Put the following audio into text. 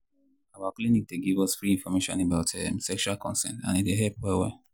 um our clinic dey give us free information about um sexual consent and e dey help well well.